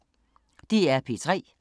DR P3